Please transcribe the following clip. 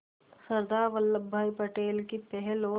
सरदार वल्लभ भाई पटेल की पहल और